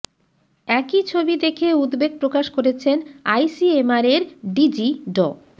একই ছবি দেখে উদ্বেগ প্রকাশ করেছেন আইসিএমআরের ডিজি ড